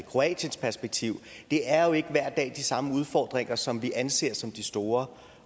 kroatiens perspektiv det er jo ikke de samme udfordringer som vi anser som de store